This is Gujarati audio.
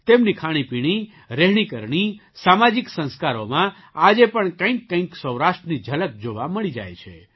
તેમની ખાણીપીણી રહેણીકરણી સામાજિક સંસ્કારોમાં આજે પણ કંઈકકંઈક સૌરાષ્ટ્રની ઝલક જોવા મળી જાય છે